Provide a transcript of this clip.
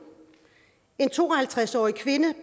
en to og halvtreds årig kvinde